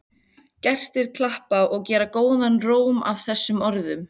Gestir klappa og gera góðan róm að þessum orðum.